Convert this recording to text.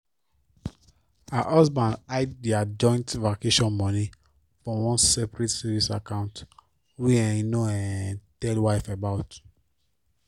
her husband hide their joint vacation money for one separate savings account wey um he no um tell wife about